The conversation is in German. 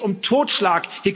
Hier geht es um Totschlag!